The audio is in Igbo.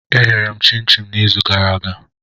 Eghere m chin-chin n'izu gara aga.